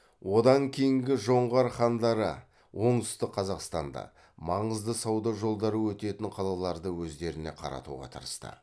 одан кейінгі жоңғар хандары оңтүстік қазақстанды маңызды сауда жолдары өтетін қалаларды өздеріне қаратуға тырысты